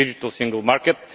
the Digital Single Market